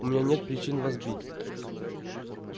у меня нет причин вас бить